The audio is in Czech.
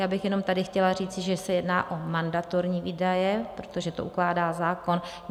Já bych jenom tady chtěla říci, že se jedná o mandatorní výdaje, protože to ukládá zákon.